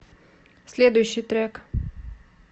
следующий трек